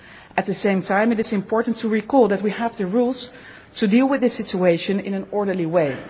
soon. At the same time, it is important to recall that we have the rules to deal with this situation in an orderly